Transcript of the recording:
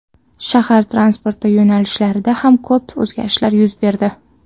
Shahar transporti yo‘nalishlarida ham ko‘p o‘zgarishlar yuz berdi.